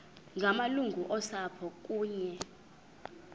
ngamalungu osapho kunye